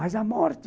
Mas a morte...